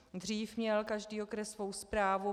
Dřív měl každý okres svou správu.